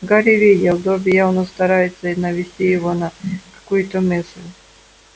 гарри видел добби явно старается навести его на какую-то мысль